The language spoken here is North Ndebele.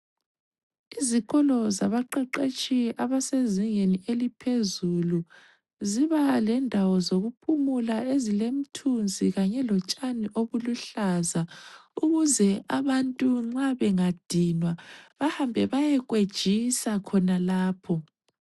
Izikolo zabaqeqetshi abasezingeni eliphezulu, zibalendawo zokuphumula ezilemthunzi kanye lotshani obuluhlaza ukuze abantu nxa bengadinwa bahambe bayekwejisa khonalapho.